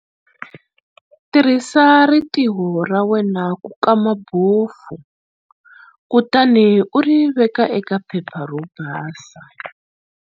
Tirhisa ritirho ra wena ku kama bofu kutani u ri veka eka phepha ro basa.